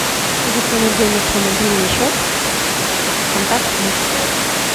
закинуть денег на мобильный счет контакт муж